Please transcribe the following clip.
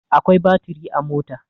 Akwai baturi a mota.